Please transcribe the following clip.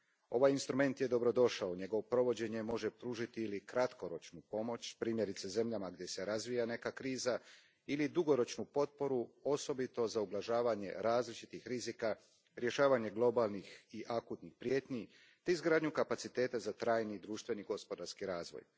Ovaj instrument je dobrodošao, njegovo provođenje može pružiti ili kratkoročnu pomoć, primjerice zemljama gdje se razvija neka kriza, ili dugoročnu potporu, osobito za ublažavanje različitih rizika, rješavanje globalnih i akutnih prijetnji te izgradnju kapaciteta za trajni društveni i gospodarski razvoj.